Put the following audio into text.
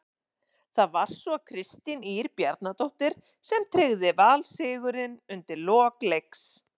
Það var svo Kristín Ýr Bjarnadóttir sem tryggði Val sigurinn undir lok leiks.